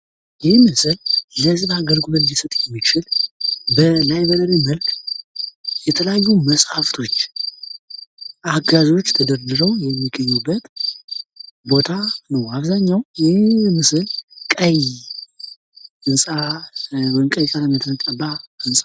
ይህ ምስል የህዝብ አገልግሎት ሊሰጥ የሚችል በላይብረሪ መልክ የተለያዩ መፅሐፎች አጋዦች ተደርድረው የሚገኙበት ቦታ ነው። አብዛኛው ይሄ ምስል ቀይ ህንፃ ወይም ቀይ ቀለም የተቀባ ህንፃ ነው።